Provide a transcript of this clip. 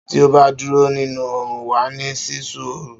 Tí ó bá dúró nínú òrún, wàá ní sísú òrú